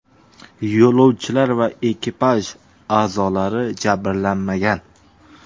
Yo‘lovchilar va ekipaj a’zolari jabrlanmagan.